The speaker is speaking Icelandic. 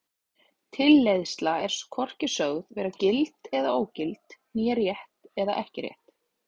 Tilleiðsla er er hvorki sögð vera gild eða ógild né rétt eða ekki rétt.